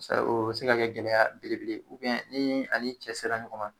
O bɛ se ka kɛ gɛlɛya belebele , ni ani cɛ sera ɲɔgɔn ma